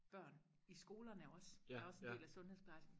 børn i skolerne også er også en del af sundhedsplejersken